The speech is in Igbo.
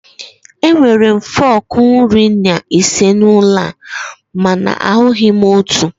Enwere m fọkụ iri na ise n'ụlọ a mana ahụghị m otu.